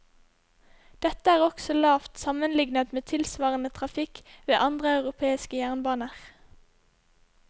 Dette er også lavt sammenlignet med tilsvarende trafikk ved andre europeiske jernbaner.